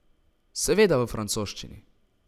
Seveda v francoščini.